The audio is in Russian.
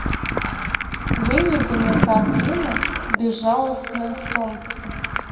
выведи мне картину безжалостное солнце